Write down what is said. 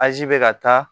Azi bɛ ka taa